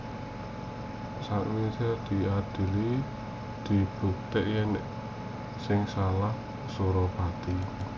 Sawisé diadhili kabukti yèn sing salah Suropati